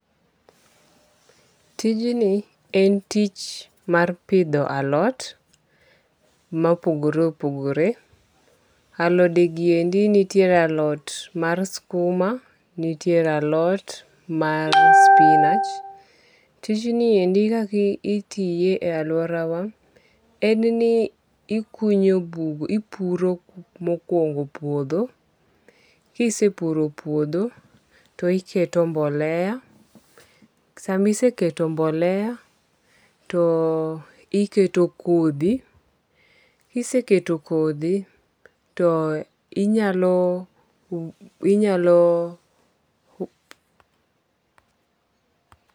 Tijni en tich mar pidho alot mopogore opogore. Aloden gi endi nitie alot mar skuma. Nitiere alot mar spinach. Ticjni endi kaka itiye e aluora wa en ni ikunyo bur ipuro mokuongo puodho. Kisepuro puodho to iketo mbolea, Samiseketo mbolea to iketo kodhi. Kiseketo kodhi to inyalo